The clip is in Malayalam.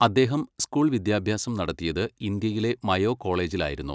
അദ്ദേഹം സ്കൂൾ വിദ്യാഭ്യാസം നടത്തിയത് ഇന്ത്യയിലെ മയോ കോളേജിലായിരുന്നു.